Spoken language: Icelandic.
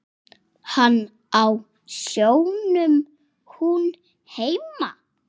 Hann á sjónum, hún heima.